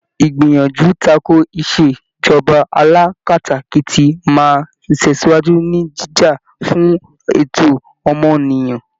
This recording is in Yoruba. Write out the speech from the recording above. Ìgbìyànjú takò ìṣèjọba alákatakítí máa tẹ̀síwájú, ní jíjà fún ẹ̀tọ́ ọmọnìyàn.